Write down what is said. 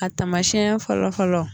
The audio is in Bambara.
A tamasiɲɛ fɔlɔ fɔlɔ.